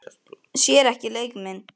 Sér ekki leik minn.